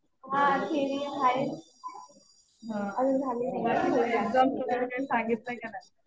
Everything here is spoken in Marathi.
हा थेरी आहे. अजून झाली नाही.